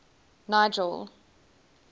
nigel